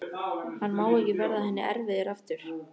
Hann má ekki verða henni erfiður aftur.